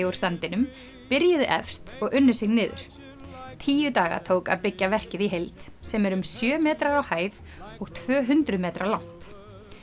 úr sandinum byrjuðu efst og unnu sig niður tíu daga tók að byggja verkið í heild sem er um sjö metrar á hæð og tvö hundruð metra langt